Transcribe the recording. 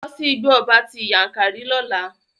Lọ sí Igbó ọba ti Yankari lọ́la!